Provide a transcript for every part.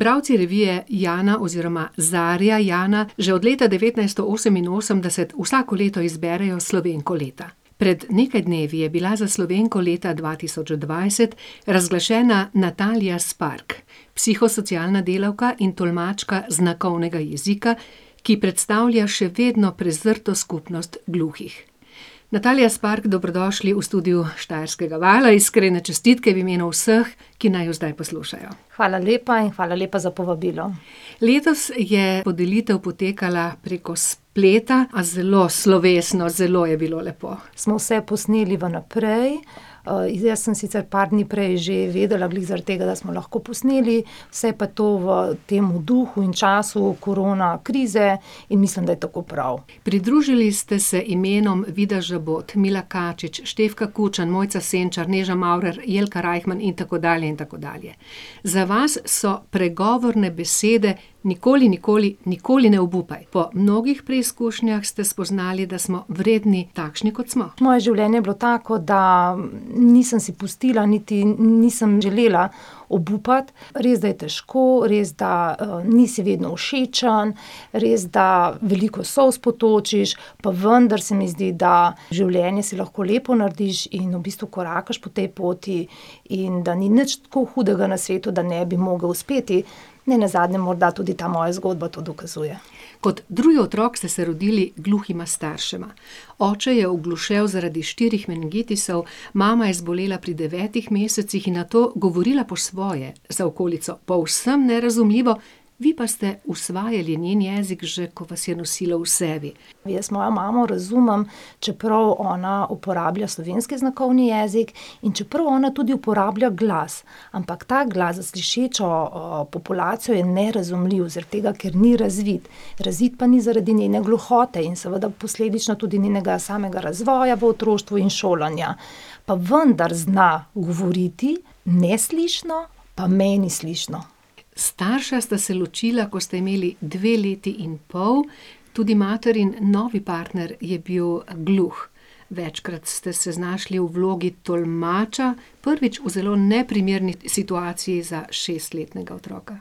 Bralci revije Jana oziroma Zarja Jana že od leta devetnajststo oseminosemdeset vsako leto izberejo Slovenko leta. Pred nekaj dnevi je bila za Slovenko leta dva tisoč dvajset razglašena Natalija Spark, psihosocialna delavka in tolmačka znakovnega jezika, ki predstavlja še vedno prezrto skupnost gluhih. Natalija Spark, dobrodošli v studiu Štajerskega vala. Iskrene čestitke v imenu vseh, ki naju zdaj poslušajo. Hvala lepa in hvala lepa za povabilo. Letos je podelitev potekala preko spleta, a zelo slovesno, zelo je bilo lepo. Smo vse posneli vnaprej, jaz sem sicer par dni prej že vedela, glih zaradi tega, da smo lahko posneli. Vse pa to v temu duhu in času korona krize in mislim, da je tako prav. Pridružili ste se imenom Vida Žabot, Mila Kačič, Štefka Kučan, Mojca Senčar, Neža Maurer, Jelka Reichman in tako dalje in tako dalje. Za vas so pregovorne besede: nikoli, nikoli, nikoli ne obupaj. Po mnogih preizkušnjah ste spoznali, da smo vredni takšni, kot smo. Moje življenje je bilo tako, da nisem si pustila niti nisem želela obupati. Res, da je težko, res, da, nisi vedno všečen, res, da veliko solz potočiš, pa vendar se mi zdi, da življenje si lahko lepo narediš in v bistvu korakaš po tej poti in da ni nič tako hudega na svetu, da ne bi mogli uspeti. Nenazadnje morda tudi ta moja zgodba to dokazuje. Kot drugi otrok ste se rodili gluhima staršema. Oče je oglušel zaradi štirih meningitisov, mama je zbolela pri devetih mesecih in nato govorila po svoje, za okolico povsem nerazumljivo. Vi pa ste usvajali njen jezik že, ko vas je nosila v sebi. Jaz mojo mamo razumem, čeprav ona uporablja slovenski znakovni jezik in čeprav ona tudi uporablja glas. Ampak ta glas za slišečo, populacijo je nerazumljiv, zaradi tega, ker ni razvit. Razvit pa ni zaradi njene gluhote in seveda posledično tudi njenega samega razvoja v otroštvu in šolanja. Pa vendar zna govoriti neslišno, pa meni slišno. Starša sta se ločila, ko ste imeli dve leti in pol. Tudi materin novi partner je bil gluh. Večkrat ste se znašli v vlogi tolmača, prvič v zelo neprimerni situaciji za šestletnega otroka.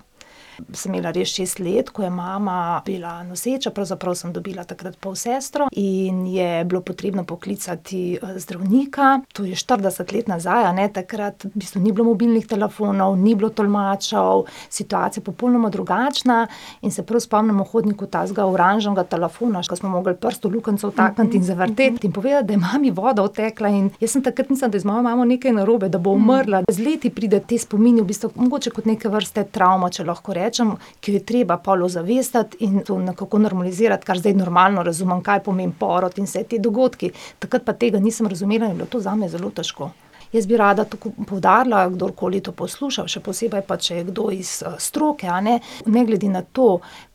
Pa sem imela res šest let, ko je mama bila noseča, pravzaprav sem dobila takrat polsestro, in je bilo potrebno poklicati, zdravnika. To je štirideset let nazaj, a ne, takrat v bistvu ni bilo mobilnih telefonov, ni bilo tolmačev, popolnoma drugačna situacija. In se prav spomnim v hodniku takega oranžnega telefona, še smo mogli prst v luknjico vtakniti in zavrteti, in povedati, da je mami voda odtekla, in jaz sem takrat mislila, da je z mojo mamo nekaj narobe, da bo umrla. Z leti pridejo ti spomini v bistvu mogoče kot neke vrste travma, če lahko rečem, ker je treba pol ozavestiti in to nekako normalizirati, kar zdaj normalno razumem, kaj pomeni porod in vsi ti dogodki. Takrat pa tega nisem razumela in je bilo to zame zelo težko. Jaz bi rada tako poudarila, kdorkoli to posluša, še posebej pa, če je kdo iz stroke, a ne. Ne glede na to,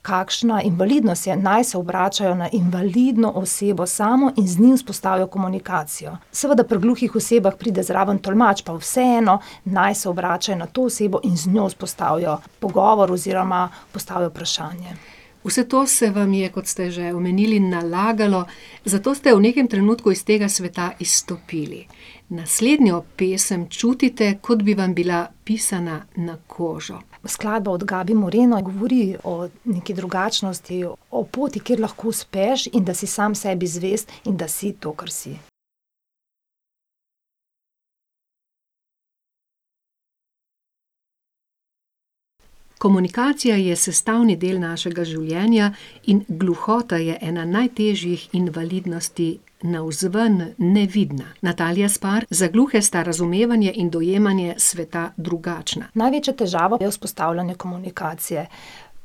kakšna invalidnost je, naj se obračajo na invalidno osebo samo in z njim vzpostavijo komunikacijo. Seveda pri gluhih osebah pride zraven tolmač, pa vseeno naj se obračajo na to osebo in z njo vzpostavijo pogovor oziroma postavijo vprašanje. Vse to se vam je, kot ste že omenili, nalagalo, zato ste v nekem trenutku iz tega sveta izstopili. Naslednjo pesem čutite, kot bi vam bila pisana na kožo. Skladba od Gabi Moreno govori o neki drugačnosti, o poti, kjer lahko uspeš, in da si sam sebi zvest in da si to, kar si. Komunikacija je sestavni del našega življenja in gluhota je ena najtežjih invalidnosti, navzven nevidna. Natalija Spark, za gluhe sta razumevanje in dojemanje sveta drugačna. Največja težava je vzpostavljanje komunikacije.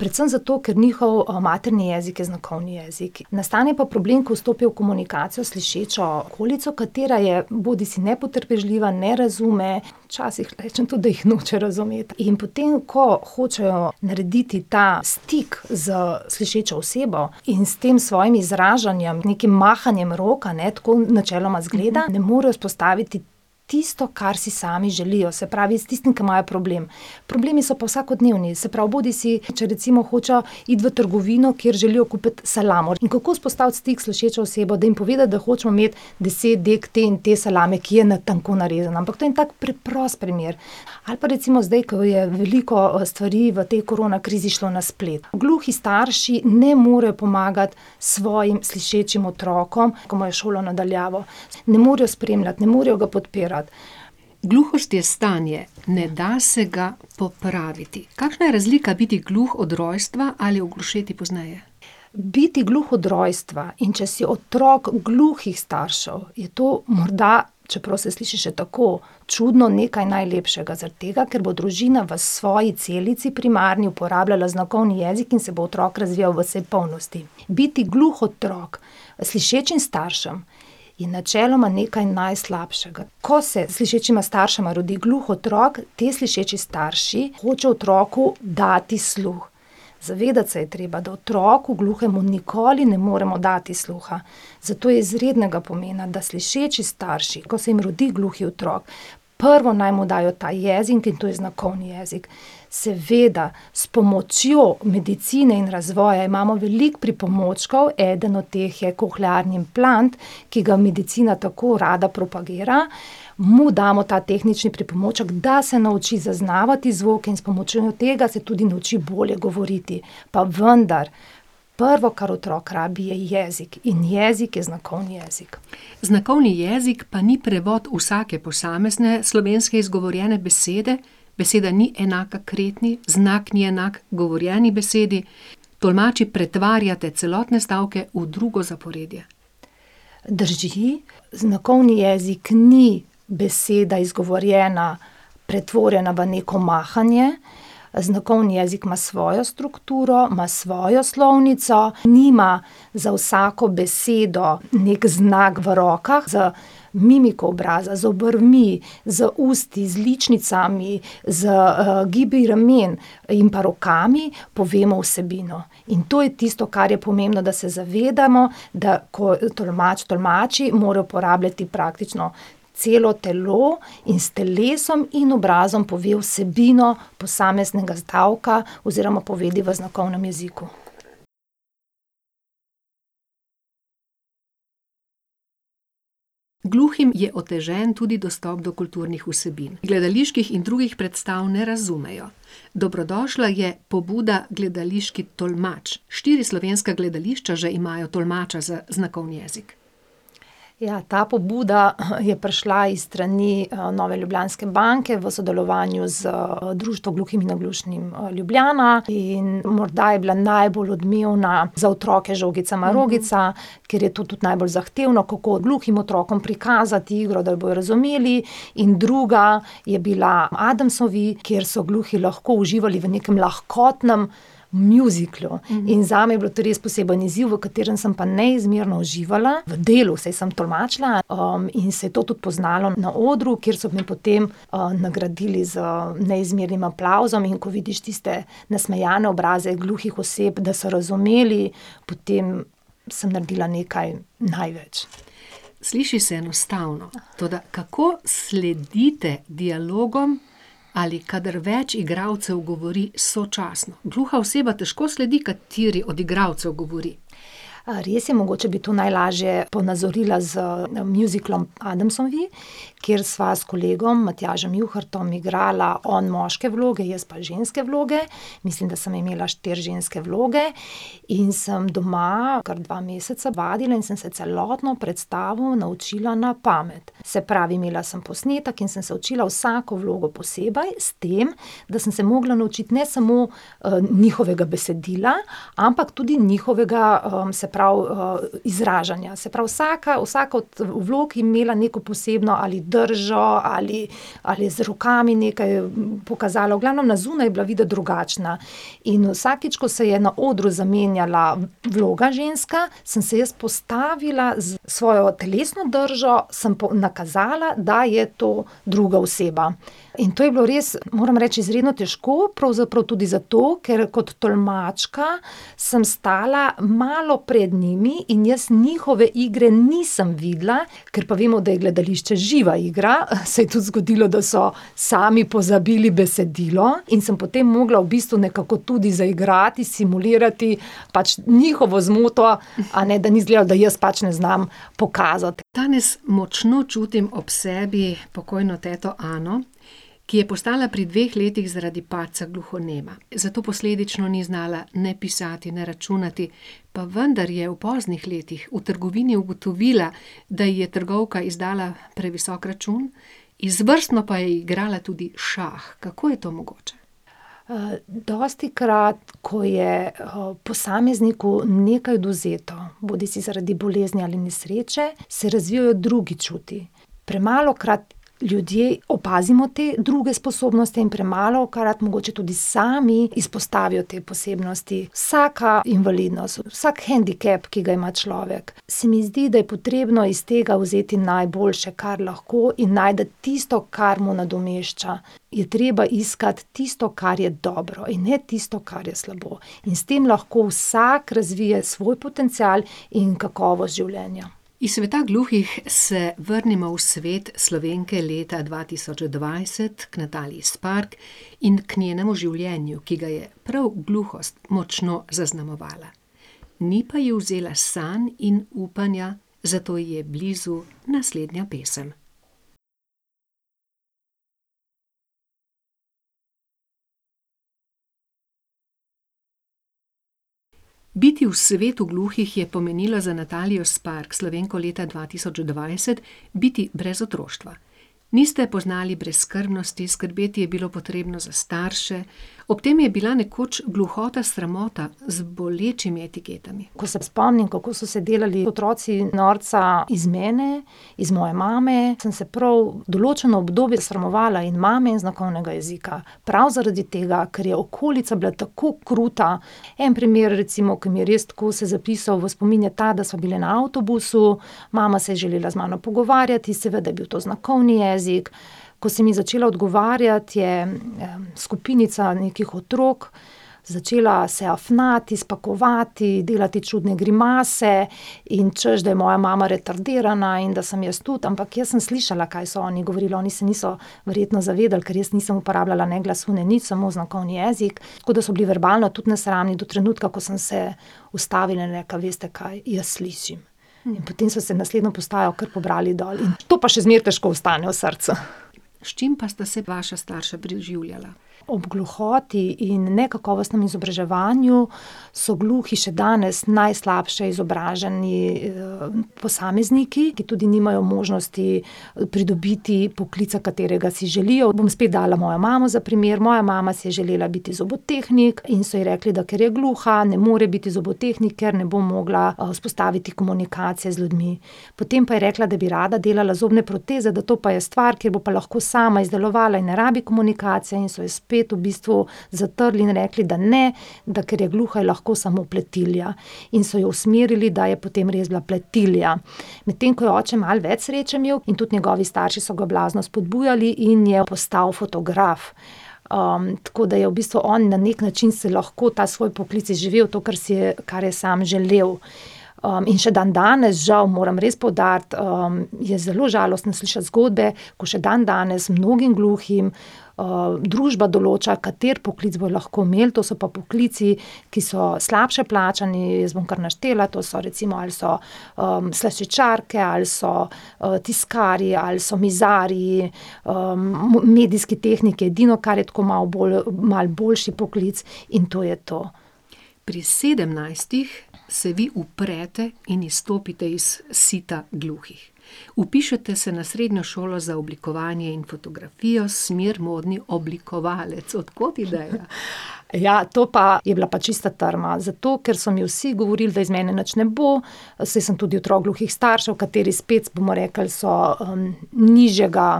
Predvsem zato, ker njihov, materni jezik je znakovni jezik. Nastane pa problem, ko vstopijo v komunikacijo s slišečo okolico, katera je bodisi nepotrpežljiva, ne razume, včasih rečem tudi, da jih noče razumeti. In potem ko hočejo narediti ta stik s slišečo osebo in s tem svojim izražanjem, nekim mahanjem rok, a ne, tako načeloma izgleda, ne morejo vzpostaviti tisto, kar si sami želijo. Se pravi s tistim, ke imajo problem. Problemi so pa vsakodnevni, se pravi bodisi, če recimo hočejo iti v trgovino, kjer želijo kupiti salamo. In kako vzpostaviti stik s slišečo osebo, da jim povedati, da hočemo imeti deset dek te in te salame, ki je na tenko narezana? Ampak to je en tak preprost primer. Ali pa recimo zdaj, ke je veliko, stvari v tej korona krizi šlo na splet. Gluhi starši ne morejo pomagati svojim slišečim otrokom, ki imajo šolo na daljavo. Ne morejo spremljati, ne morejo ga podpirati. Gluhost je stanje. Ne da se ga popraviti. Kakšna je razlika biti gluh od rojstva ali oglušeti pozneje? Biti gluh od rojstva, in če si otrok gluhih staršev, je to morda, čeprav se sliši še tako čudno, nekaj najlepšega, zaradi tega, ker bo družina v svoji celici primarni uporabljala znakovni jezik in se bo otrok razvijal v vsej polnosti. Biti gluh otrok slišečim staršem je načeloma nekaj najslabšega. Ko se slišečima staršema rodi gluh otrok, ti slišeči starši hočejo otroku dati sluh. Zavedati se je treba, da otroku gluhemu nikoli ne moremo dati sluha. Zato je izrednega pomena, da slišeči starši, ko se jim rodi gluhi otrok, prvo naj mu dajo ta jezik, in to je znakovni jezik. Seveda s pomočjo medicine in razvoja imamo veliko pripomočkov, eden od teh je kohlearni implant, ki ga medicina tako rada propagira. Mu damo ta tehnični pripomoček, da se nauči zaznavati zvok in s pomočjo tega se tudi nauči bolje govoriti. Pa vendar prvo, kar otrok rabi, je jezik. In jezik je znakovni jezik. Znakovni jezik pa ni prevod vsake posamezne slovenske izgovorjene besede, beseda ni enaka kretnji, znak ni enak govorjeni besedi. Tolmači pretvarjate celotne stavke v drugo zaporedje. Drži. Znakovni jezik ni beseda, izgovorjena, pretvorjena v neko mahanje, znakovni jezik ima svojo strukturo, ima svojo slovnico, nima za vsako besedo neki znak v rokah. Z mimiko obraza, z obrvmi, z usti, z ličnicami, z, gibi ramen in pa rokami povemo vsebino. In to je tisto, kar je pomembno, da se zavedamo, da ko tolmač tolmači, mora uporabljati praktično celo telo in s telesom in obrazom pove vsebino posameznega stavka oziroma povedi v znakovnem jeziku. Gluhim je otežen tudi dostop do kulturnih vsebin. Gledaliških in drugih predstav ne razumejo. Dobrodošla je pobuda gledališki tolmač. Štiri slovenska gledališča že imajo tolmača za znakovni jezik. Ja, ta pobuda je prišla iz strani, Nove ljubljanske banke v sodelovanju z Društvom gluhih in naglušnih, Ljubljana in morda je bila najbolj odmevna za otroke Žogica marogica, ker je to tudi najbolj zahtevno, kako gluhim otrokom prikazati igro, da jo bodo razumeli, in druga je bila Adamsovi, kjer so gluhi lahko uživali v nekem lahkotnem mjuziklu. In zame je bilo to res poseben izziv, v katerem sem pa neizmerno uživala. V delu, saj sem tolmačila. in se je to tudi poznalo na odru, kjer so me potem, nagradili z neizmernim aplavzom. In ko vidiš tiste nasmejane obraze gluhih oseb, da so razumeli, potem sem naredila nekaj največ. Sliši se enostavno. Toda kako sledite dialogom ali kadar več igralcev govori sočasno? Gluha oseba težko sledi, kateri od igralcev govori. res je, mogoče bi to najlažje ponazorila z, mjuziklom Adamsovi, kjer sva s kolegom, Matjažem Juhartom, igrala on moške vloge, jaz pa ženske vloge. Mislim, da sem imela štiri ženske vloge. In sem doma kar dva meseca vadila in sem se celotno predstavo naučila na pamet. Se pravi, imela sem posnetek in sem se učila vsako vlogo posebej, s tem da sem se mogla naučiti ne samo, njihovega besedila, ampak tudi njihovega, se pravi, izražanja. Se pravi vsaka, vsaka od vlog je imela neko posebno ali držo ali ali je z rokami nekaj pokazala, v glavnem na zunaj je bila videti drugačna. In vsakič, ko se je na odru zamenjala vloga ženska, sem se jaz postavila, s svojo telesno držo sem nakazala, da je to druga oseba. In to je bilo res, moram reči, izredno težko, pravzaprav tudi zato, ker kot tolmačka samo stala malo pred njimi in jaz njihove igre nisem videla. Ker pa vemo, da je gledališče živa igra, se je tudi zgodilo, da so sami pozabili besedilo in sem potem mogla v bistvu nekako tudi zaigrati, simulirati pač njihovo zmoto, a ne, da ni izgledalo, da jaz pač ne znam pokazati. Danes močno čutim ob sebi pokojno teto Ano, ki je postala pri dveh letih zaradi padca gluhonema. Zato posledično ni znala ne pisati ne računati. Pa vendar je v poznih letih v trgovini ugotovila, da ji je trgovka izdala previsok račun, izvrstno pa je igrala tudi šah. Kako je to mogoče? dostikrat, ko je, posamezniku nekaj odvzeto, bodisi zaradi bolezni ali nesreče, se razvijejo drugi čuti. Premalokrat ljudje opazimo te druge sposobnosti in premalokrat mogoče tudi sami izpostavijo te posebnosti. Vsaka invalidnost, vsak hendikep, ki ga ima človek, se mi zdi, da je potrebno iz tega vzeti najboljše, kar lahko, in najti tisto, kar mu nadomešča. Je treba iskati tisto, kar je dobro, in ne tisto, kar je slabo. In s tem lahko vsak razvije svoj potencial in kakovost življenja. Iz sveta gluhih se vrnimo v svet Slovenke leta dva tisoč dvajset, k Nataliji Spark in k njenemu življenju, ki ga je prav gluhost močno zaznamovala. Ni pa je vzela sanj in upanja, zato ji je blizu naslednja pesem. Biti v svetu gluhih je pomenilo za Natalijo Spark, Slovenko leta dva tisoč dvajset, biti brez otroštva. Niste poznali brezskrbnosti, skrbeti je bilo potrebno za starše. Ob tem je bila nekoč gluhota sramota, z bolečimi etiketami. Ko se spomnim, kako so se delali otroci iz mene norca, iz moje mame, sem se prav določeno obdobje sramovala in mame in znakovnega jezika. Prav zaradi tega, ker je okolica bila tako kruta. En primer, recimo, ko mi je res tako se zapisal v spomin, je ta, da smo bile na avtobusu, mama se je želela z mano pogovarjati, seveda je bil to znakovni jezik. Ko sem ji začela odgovarjati, je, skupinica nekih otrok začela se afnati, spakovati, delati čudne grimase, in češ da je moja mama retardirana in da sem jaz tudi. Ampak jaz sem slišala, kaj so oni govorili. Oni se niso verjetno zavedali, ker jaz nisem uporabljala ne glasu, ne nič, samo znakovni jezik, tako da so bili verbalno tudi nesramni. Do trenutka, ko sem se ustavila in rekla: "Veste kaj, jaz slišim." Potem so se naslednjo postajo kar pobrali dol. To pa še zmeraj težko ostane v srcu. S čim pa sta se vaša starša preživljala? Ob gluhoti in nekakovostnem izobraževanju so gluhi še danes najslabše izobraženi, posamezniki, ki tudi nimajo možnosti pridobiti poklica, katerega si želijo. Bom spet dala mojo mamo za primer. Moja mama si je želela biti zobotehnik in so ji rekli, da ker je gluha, ne more biti zobotehnik, ker ne bo mogla, vzpostaviti komunikacije z ljudmi. Potem pa je rekla, da bi rada delala zobne proteze, da to pa je stvar, kjer bo pa lahko sama izdelovala in ne rabi komunikacije, in so jo spet v bistvu zatrli in rekli, da ne, da ker je gluha, je lahko samo pletilja. In so jo usmerili, da je potem res bila pletilja. Medtem ko je oče malo več sreče imel, in tudi njegovi starši so ga blazno spodbujali in je postal fotograf. tako da je v bistvu on na neki način se lahko ta svoj poklic izživel, to, kar si je, kar je samo želel. in še dandanes, žal moram res poudariti, je zelo žalostno slišati zgodbe, ko še dandanes mnogim gluhim, družba določa, kateri poklic bojo lahko imeli. To so pa poklici, ki so slabše plačani, jaz bom kar naštela. To so recimo, ali so, slaščičarke ali so, tiskarji ali so mizarji, medijski tehniki, edino, kar je tako malo malo boljši poklic, in to je to. Pri sedemnajstih se vi uprete in izstopite iz sita gluhih. Vpišete se na srednjo šolo za oblikovanje in fotografijo, smer modni oblikovalec. Od kod ideja? Ja, to pa je bila pa čista trma. Zato, ker so mi vsi govorili, da iz mene nič ne bo, saj sem tudi otrok gluhih staršev, kateri spet, bomo rekli, so, nižjega,